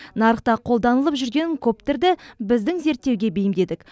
нарықта қолданылып жүрген коптерді біздің зерттеуге бейімдедік